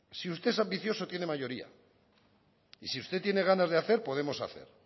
si usted es ambicioso tiene mayoría y si usted tiene ganas de hacer podemos hacer